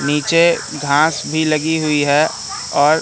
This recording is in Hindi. नीचे घास भी लगी हुई है और--